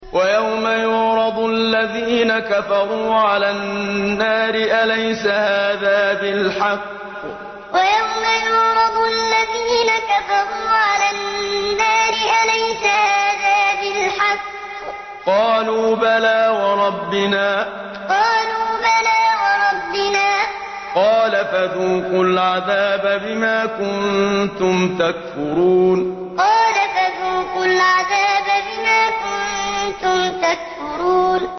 وَيَوْمَ يُعْرَضُ الَّذِينَ كَفَرُوا عَلَى النَّارِ أَلَيْسَ هَٰذَا بِالْحَقِّ ۖ قَالُوا بَلَىٰ وَرَبِّنَا ۚ قَالَ فَذُوقُوا الْعَذَابَ بِمَا كُنتُمْ تَكْفُرُونَ وَيَوْمَ يُعْرَضُ الَّذِينَ كَفَرُوا عَلَى النَّارِ أَلَيْسَ هَٰذَا بِالْحَقِّ ۖ قَالُوا بَلَىٰ وَرَبِّنَا ۚ قَالَ فَذُوقُوا الْعَذَابَ بِمَا كُنتُمْ تَكْفُرُونَ